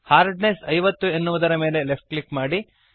hardness 50 ಎನ್ನುವುದರ ಮೇಲೆ left click ಮಾಡಿರಿ